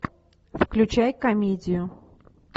включай комедию